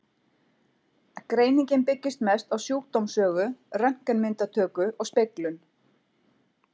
Greiningin byggist mest á sjúkdómssögu, röntgenmyndatöku og speglun.